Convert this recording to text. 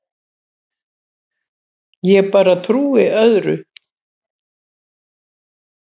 Ég bara trúi öðru.